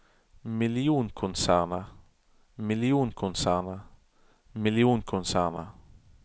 millionkonsernet millionkonsernet millionkonsernet